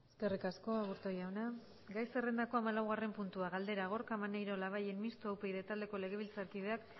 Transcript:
eskerrik asko aburto jauna gai zerrendako hamalaugarren puntua galdera gorka maneiro labayen mistoa upyd taldeko legebiltzarkideak